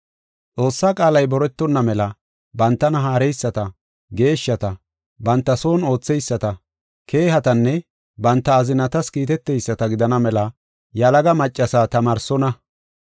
Xoossaa qaalay boretonna mela bantana haareyisata, geeshshata, banta son ootheyisata, keehatanne banta azinatas kiiteteyisata gidana mela yalaga maccasa tamaarsonna.